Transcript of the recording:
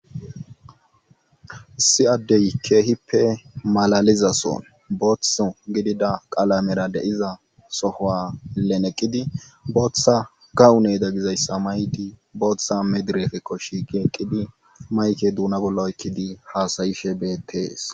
si addey keehippe malalizason booththo gidida qalamera de iza sohoa leneqqidi booththa kawune da gizayssa maydi booththa medirefe koshi ge eqqidi mayke duuna bolla oykkidi haasayishe beettees